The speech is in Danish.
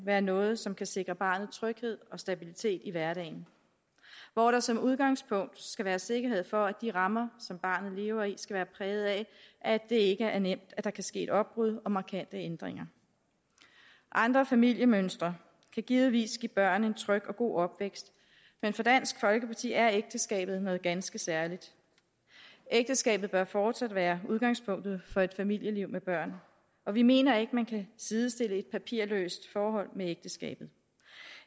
være noget som kan sikre barnet tryghed og stabilitet i hverdagen hvor der som udgangspunkt skal være sikkerhed for at de rammer som barnet lever i skal være præget af at det ikke skal være nemt at der kan ske et opbrud og markante ændringer andre familiemønstre kan givetvis give børn en tryg og god opvækst men for dansk folkeparti er ægteskabet noget ganske særligt ægteskabet bør fortsat være udgangspunktet for et familieliv med børn og vi mener ikke at man kan sidestille et papirløst forhold med ægteskabet